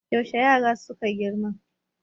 yaushe yaran suka girma